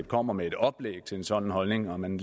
kommer med et oplæg i forhold til en sådan holdning og at man